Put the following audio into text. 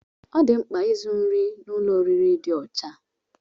Ọ dị mkpa izu nri n'ụlọ oriri dị ọcha